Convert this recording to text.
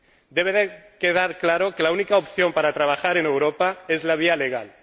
Debe quedar claro que la única opción para trabajar en Europa es la vía legal.